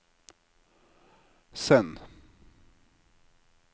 send